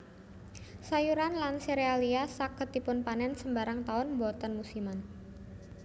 Sayuran lan serealia saged dipunpanen sembarang taun boten musiman